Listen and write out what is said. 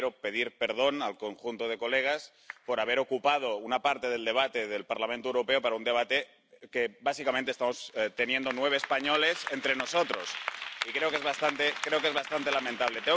Y yo quiero pedir perdón al conjunto de señorías por haber ocupado una parte del debate del Parlamento Europeo con un debate que, básicamente, estamos manteniendo nueve españoles entre nosotros, y creo que es bastante lamentable.